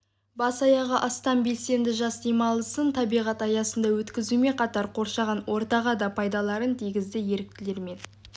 бас-аяғы астам белсенді жас демалысын табиғат аясында өткізумен қатар қоршаған ортаға да пайдаларын тигізді еріктілер мен